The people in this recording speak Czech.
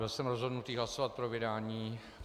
Byl jsem rozhodnutý hlasovat pro vydání.